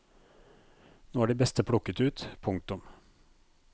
Nå er de beste plukket ut. punktum